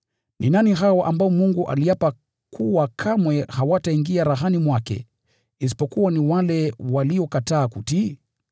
Ni nani hao ambao Mungu aliapa kuwa kamwe hawataingia rahani mwake isipokuwa ni wale waliokataa kutii?